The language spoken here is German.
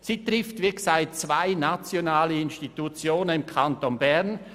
Sie trifft, wie gesagt, zwei nationale Institutionen im Kanton Bern.